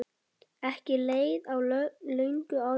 Ekki leið á löngu áður en